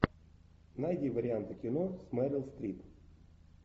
найди варианты кино с мерил стрип